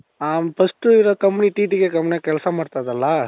ಹ first ಇರೋ company TTKs companyಲಿ ಕೆಲ್ಸ ಮಾಡ್ತಾ ಇದ್ದೆ ಅಲ್ಲ?